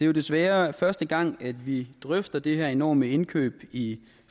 jo desværre første gang at vi drøfter det her enorme indkøb i